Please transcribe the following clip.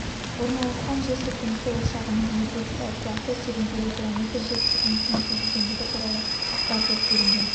орналасқан жер сілкінісі ошағының энергетикалық класы тереңдігі километр жер сілкінісінің сезілгендігі туралы ақпар жоқ делінген